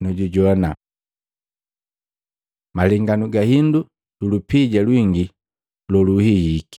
nu jujoana.” Malenganu ga hindu yu lupija lwingi loluhihiki